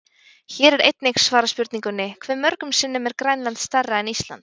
Hér er einnig svarað spurningunni: Hve mörgum sinnum er Grænland stærra en Ísland?